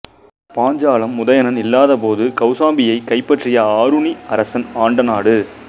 பாஞ்சாலம் உதயணன் இல்லாத போது கௌசாம்பியைக் கைப்பற்றிய ஆருணி அரசன் ஆண்ட நாடு